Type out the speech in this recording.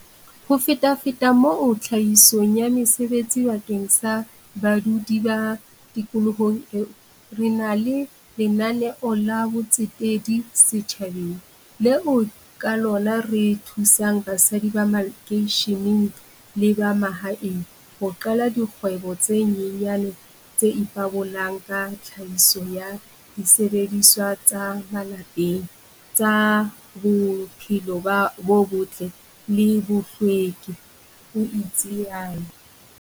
Ho fetafeta moo tlhahisong ya mesebetsi bakeng sa badudi ba tikoloho eo, re na le lena neo la botsetedi setjhabeng, leo ka lona re thusang basadi ba makeisheneng le ba mahaeng ho qala dikgwebo tse nyenyane tse ipabolang ka tlhahiso ya disebediswa tsa malapeng tsa bophelo bo botle le bohlweki, o itsalo.